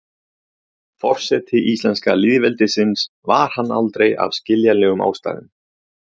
forseti íslenska lýðveldisins var hann aldrei af skiljanlegum ástæðum